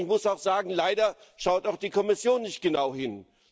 Und ich muss auch sagen Leider schaut auch die Kommission nicht genau hin.